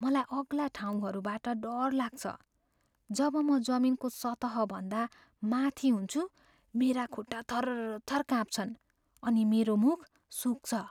मलाई अग्ला ठाउँहरूबाट डर लाग्छ। जब म जमिनको सतहभन्दा माथि हुन्छु मेरा खुट्टा थरथर काँप्छन् अनि मेरो मुख सुक्छ।